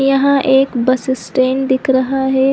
यहाँ एक bus stand दिख रहा है।